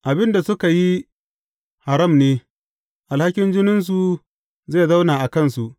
Abin da suka yi haram ne; alhakin jininsu zai zauna a kansu.